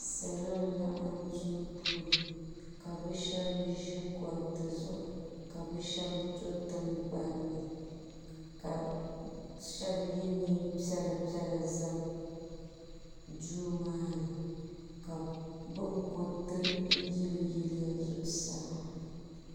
Salo n laɣim duu puuni ka bi shɛba zi gbariti zuɣu ka bi shɛba do tiŋgbanni ka shɛba ye nɛma piɛlla piɛlla n za duu maa ni ka bi kuriti yili yili ya zuɣusaa.